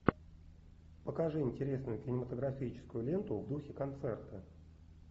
покажи интересную кинематографическую ленту в духе концерта